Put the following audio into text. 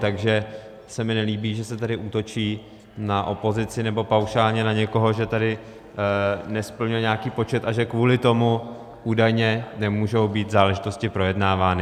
Takže se mi nelíbí, že se tady útočí na opozici, nebo paušálně na někoho, že tady nesplňuje nějaký počet a že kvůli tomu údajně nemůžou být záležitosti projednávány.